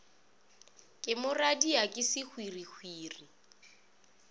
ke moradia ke sehwirihwiri o